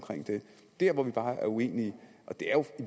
det der hvor vi bare er uenige og det